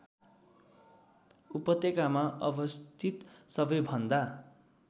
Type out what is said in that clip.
उपत्यकामा अवस्थित सबैभन्दा